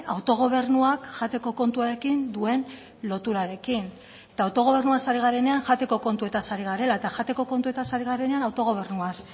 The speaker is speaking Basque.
autogobernuak jateko kontuarekin duen loturarekin eta autogobernuaz ari garenean jateko kontuetaz ari garela eta jateko kontuetaz ari garenean autogobernuaz